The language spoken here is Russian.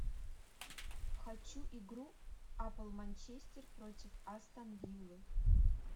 хочу игру апл манчестер против астон виллы